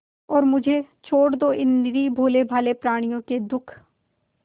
और मुझे छोड़ दो इन निरीह भोलेभाले प्रणियों के दुख